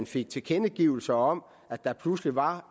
fik tilkendegivelser om at der pludselig var